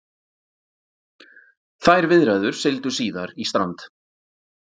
Þær viðræður sigldu síðar í strand